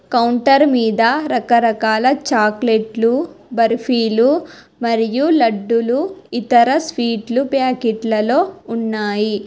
Counter మీద రకరకాల చాక్లెట్లు బర్ఫీలు మరియు లడ్డులు ఇతర స్వీట్లు ప్యాకెట్లలో ఉన్నాయి.